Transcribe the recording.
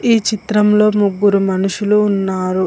ఈ చిత్రంలో ముగ్గురు మనుషులు ఉన్నారు.